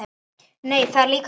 Nei, það er líka ljótt.